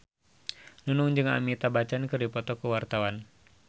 Nunung jeung Amitabh Bachchan keur dipoto ku wartawan